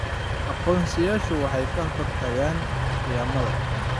Aqoonsiyadu waxay ka hortagaan khiyaamada.